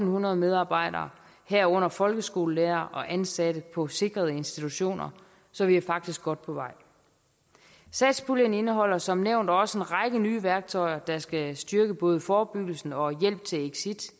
hundrede medarbejdere herunder folkeskolelærere og ansatte på sikrede institutioner så vi er faktisk godt på vej satspuljen indeholder som nævnt også en række nye værktøjer der skal styrke både forebyggelse og hjælp til